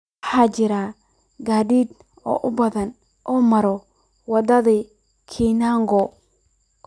waxaa jira gaadiid aad u badan oo mara wadada koinange